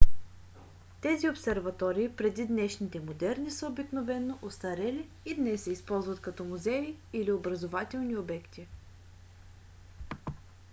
тези обсерватории преди днешните модерни са обикновено остарели и днес се използват като музеи или образователни обекти